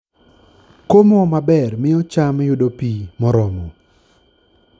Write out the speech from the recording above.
Komo maber miyo cham yudo pi moromo.